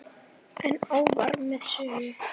En áfram með söguna.